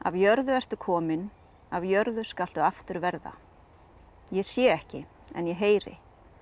jörðu ertu komin að jörðu skaltu aftur verða ég sé ekki en ég heyri